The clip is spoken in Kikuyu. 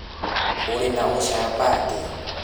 Ũrĩ na ũcamba atia?